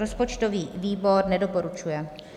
Rozpočtový výbor nedoporučuje.